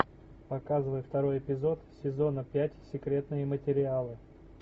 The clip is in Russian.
показывай второй эпизод сезона пять секретные материалы